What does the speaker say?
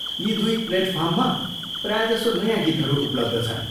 यी दुई प्लेटफर्ममा प्रायजसो नयाँ गीतहरू उपलब्ध छन् ।